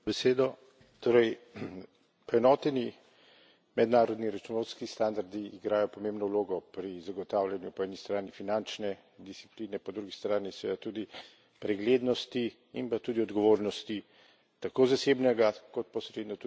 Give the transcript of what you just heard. Poenoteni mednarodni računovodski standardi igrajo pomembno vlogo pri zagotavljanju po eni strani finančne discipline, po drugi strani seveda tudi preglednosti in pa tudi odgovornosti tako zasebnega kot posredno tudi javnega sektorja.